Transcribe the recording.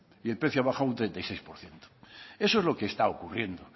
y el precio ha bajado un treinta y seis por ciento eso es lo que está ocurriendo